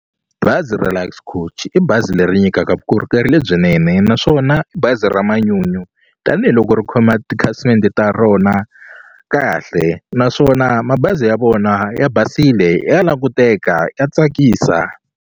Bazi ra Lux Coach i bazi leri nyikaka vukorhokeri lebyinene naswona i bazi ra manyunyu tanihiloko ri khoma tikhasimende ta rona kahle naswona mabazi ya vona ya basile ya languteka ya tsakisa.